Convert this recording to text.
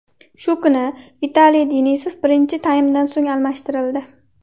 Shu kuni Vitaliy Denisov birinchi taymdan so‘ng almashtirildi.